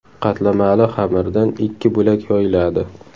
Qatlamali xamirdan ikki bo‘lak yoyiladi.